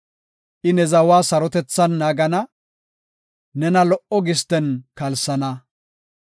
I ne zawa sarotethan naagana; nena lo77o gisten kalsana.